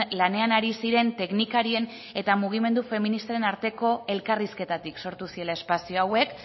lanean ari ziren teknikarien eta mugimendu feministaren arteko elkarrizketatik sortu zirela espazio hauek